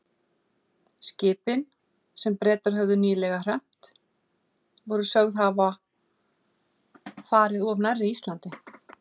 Skipin, sem Bretar höfðu nýlega hremmt, voru sögð hafa farið of nærri Íslandi.